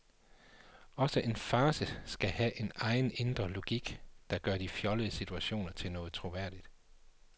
Også en farce skal have sin egen indre logik, der gør de fjollede situationer til noget troværdigt.